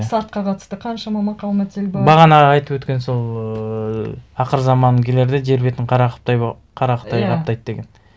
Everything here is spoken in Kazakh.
сартқа қатысты қаншама мақал мәтел бар бағана айтып өткен сол ыыы ақырзаман келерде жер бетін қара қара қытай қаптайды деген